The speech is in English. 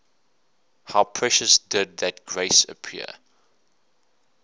how precious did that grace appear